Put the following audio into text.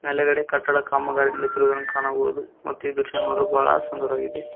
ಒಳಗಡೆ ಕಟ್ಟಡ ಕಾಮಗಾರಿ ನಡೆಯುತ್ತಿರುವುದನ್ನು ಕಾಣಬಹುದು ಮತ್ತು ಈ ದೃಶ್ಯ ನೋಡಲು ಬಹಳ ಸುಂದರವಾಗಿದೆ.